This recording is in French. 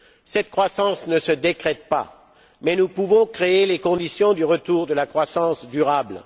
Cette croissance ne se décrète pas, mais nous pouvons créer les conditions du retour de la croissance durable.